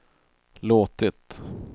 låtit